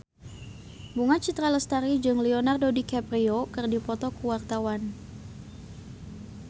Bunga Citra Lestari jeung Leonardo DiCaprio keur dipoto ku wartawan